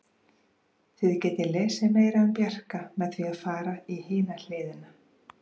Þið getið lesið meira um Bjarka með því að fara í hina hliðina.